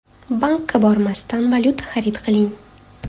Bankka bormasdan valyuta xarid qiling!.